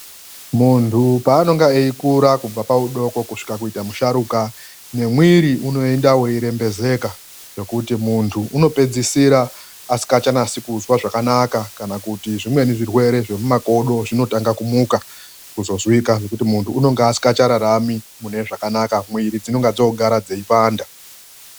Muntu paanenge achikura, kubva arimudoko kusvika ava muntu musharukwa, ngemwiri uneenda uchirembedzeka ngekuti muntu anopedzisira asingachazwi zvakanaka kana kuti zvimweni zvirwrere zvemumakodo zvinotanga kumuka kuzozwika nokuti muntu anenge asisararami zvakanaka. Muiri dzinenge dzogara dzichipanda..